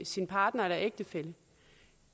sin partner eller ægtefælle